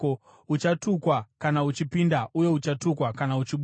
Uchatukwa kana uchipinda uye uchatukwa kana uchibuda.